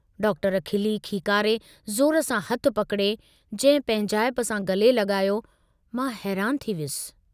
Doctor खिली खीकारे ज़ोर सां हथु पकिड़े, जंहिं पंहिंजाइप सां गले लगायो, मां हैरान थी वियुसि।